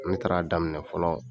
Ne taara daminɛ fɔlɔ